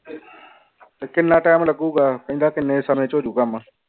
ਕਿੰਨਾ time ਲੱਗੂਗਾ ਕਹਿੰਦਾ ਕਿੰਨੇ ਸਮੇਂ ਚ ਹੋ ਜਾਊ ਕੰਮ